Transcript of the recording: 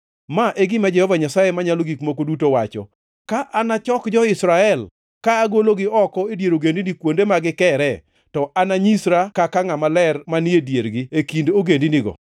“ ‘Ma e gima Jehova Nyasaye Manyalo Gik Moko Duto wacho: Ka anachok jo-Israel ka agologi oko e dier ogendini kuonde ma gikiree, to ananyisra kaka ngʼama ler manie e diergi e kind ogendinigo.